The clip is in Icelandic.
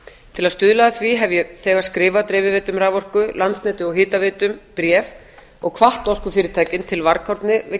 til að stuðla að því hef ég þegar skrifað dreifiveitum raforku landsneti og hitaveitum bréf og hvatt orkufyrirtækin til varkárni við